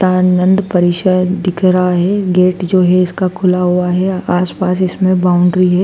तानंद परिषद दिख रहा है गेट जो है इसका खुला हुआ है आसपास इसमें बाउंड्री है।